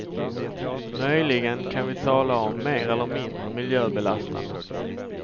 Möjligen kan vi tala om mer eller mindre miljöbelastande.